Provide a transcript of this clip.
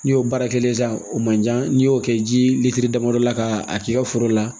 N'i y'o baara kelen san o man jan n'i y'o kɛ ji lilitiri damadɔ la k'a k'i ka foro la